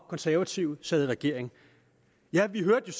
konservative sad i regering ja vi hørte